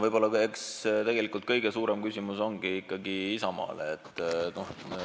Eks tegelikult kõige suurem küsimus on ikkagi Isamaale.